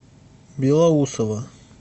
белоусово